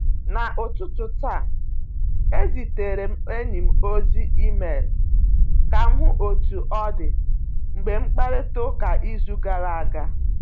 N'ụtụtụ taa, ezitere m enyi m ozi email ka m hụ otú ọ dị mgbe mkparịta ụka izu gara aga.